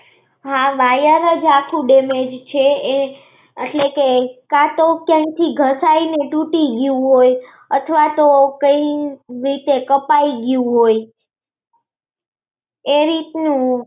હાં વાયર જ આખો damage છે. એ અટલે કે કા તો કેમ થી ઘસાઈને ટુટી ગયો હોય અથવા તો કઈ રીતે કપાઈ ગયો હોય. એવી જ